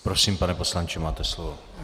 Prosím, pane poslanče, máte slovo.